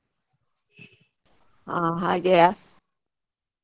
ಆ ಹಾಗೆಯ.